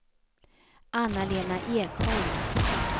Anna-Lena Ekholm